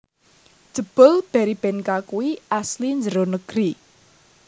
Jebul Berrybenka kui asli njero negeri